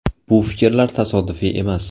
Bu fikrlar tasodifiy emas.